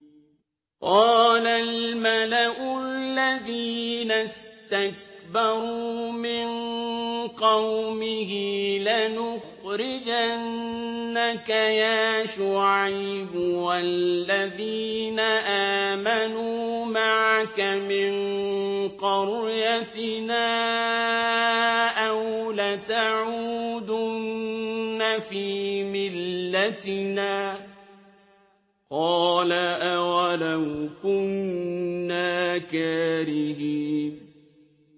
۞ قَالَ الْمَلَأُ الَّذِينَ اسْتَكْبَرُوا مِن قَوْمِهِ لَنُخْرِجَنَّكَ يَا شُعَيْبُ وَالَّذِينَ آمَنُوا مَعَكَ مِن قَرْيَتِنَا أَوْ لَتَعُودُنَّ فِي مِلَّتِنَا ۚ قَالَ أَوَلَوْ كُنَّا كَارِهِينَ